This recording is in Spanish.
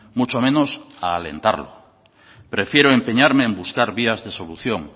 mucho menos a alentarlo prefiero empeñarme en buscar vías de solución